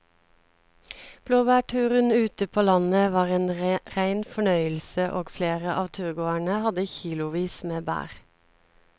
Blåbærturen ute på landet var en rein fornøyelse og flere av turgåerene hadde kilosvis med bær.